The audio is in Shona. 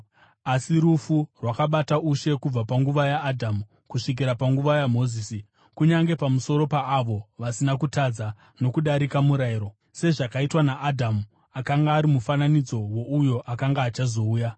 Asi rufu rwakabata ushe kubva panguva yaAdhamu kusvikira panguva yaMozisi, kunyange pamusoro paavo vasina kutadza nokudarika murayiro, sezvakaitwa naAdhamu, akanga ari mufananidzo wouyo akanga achazouya.